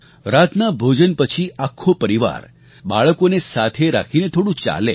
રાતના ભોજન પછી આખો પરિવાર બાળકોને સાથે રાખીને થોડું ચાલે